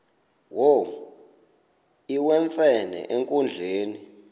wo iwemfene enkundleni